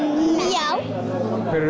já hverjir